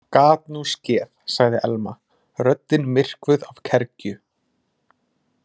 Gat nú skeð- sagði Elma, röddin myrkvuð af kergju.